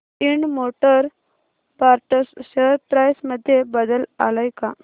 Ind Motor Parts share price मध्ये बदल आलाय का